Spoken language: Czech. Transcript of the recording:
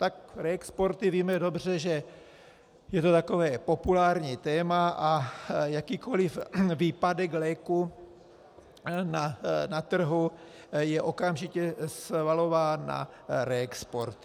Tak reexporty, víme dobře, že je to takové populární téma, a jakýkoliv výpadek léku na trhu je okamžitě svalován na reexporty.